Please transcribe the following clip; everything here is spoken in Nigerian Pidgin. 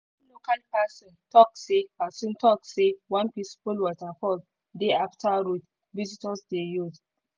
person talk say person talk say one peaceful waterfall dey after road visitors dey use.